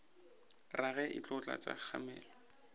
rage e tlo tlatša kgamelo